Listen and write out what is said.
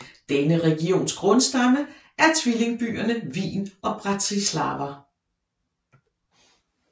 Denne regions grundstamme er tvillingebyerne Wien og Bratislava